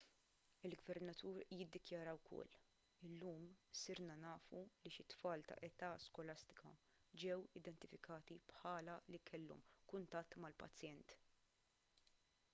il-gvernatur iddikjara wkoll illum sirna nafu li xi tfal ta' età skolastika ġew identifikati bħala li kellhom kuntatt mal-pazjent